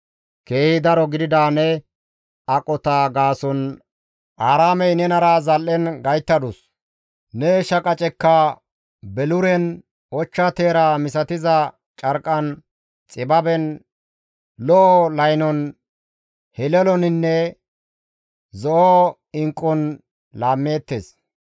«Keehi daro gidida ne aqota gaason Aaraamey nenara zal7en gayttadus; ne shaqacekka beluren, ochcha teera misatiza carqqan, xibaben, lo7o laynon, heleloninne zo7o inqqun laammeettes.